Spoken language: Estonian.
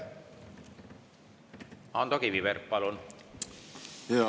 Ando Kiviberg, palun!